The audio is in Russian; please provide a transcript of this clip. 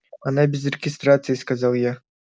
она без регистрации сказал я